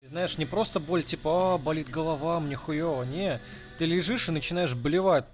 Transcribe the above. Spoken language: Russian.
знаешь не просто боль типа аа болит голова мне хуёво нет ты лежишь и начинаешь блевать